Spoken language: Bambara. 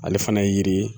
Ale fana ye yiri ye